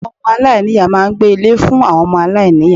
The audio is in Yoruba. Àwon Ọmọ aláìníìyá máa n gbé Ilé fún àwon omo aláìniya